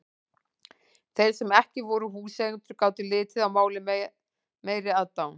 Þeir sem ekki voru húseigendur gátu litið á málið með meiri aðdáun.